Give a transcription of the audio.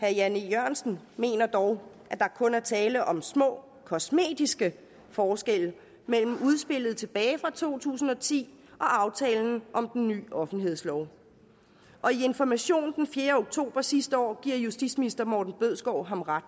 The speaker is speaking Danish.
herre jan e jørgensen mener dog at der kun er tale om små kosmetiske forskelle mellem udspillet tilbage i to tusind og ti og aftalen om den nye offentlighedslov og i information den fjerde oktober sidste år giver justitsminister morten bødskov ham ret